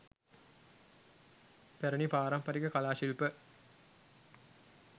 පැරැණි පාරම්පරික කලා ශිල්ප